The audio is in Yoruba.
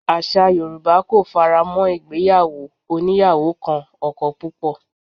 Àṣà Yorùbá kò faramó ìgbéyàwó oníyàwó kan ọkọ púpọ̀